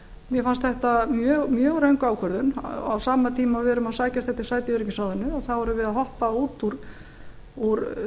mér fannst þetta mjög röng ákvörðun á sama tíma og við erum að sækjast eftir sæti í öryggisráðinu þá erum við að hoppa út úr